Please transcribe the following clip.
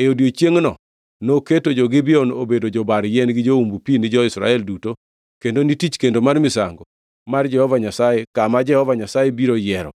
E odiechiengʼno noketo jo-Gibeon obedo jobar yien gi joumb pi ni jo-Israel duto kendo ni tich kendo mar misango mar Jehova Nyasaye kama Jehova Nyasaye biro yiero.